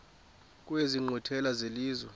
kwezi nkqwithela zelizwe